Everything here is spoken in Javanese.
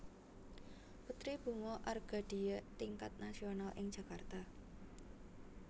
Putri Bunga Argadia Tingkat Nasional ing Jakarta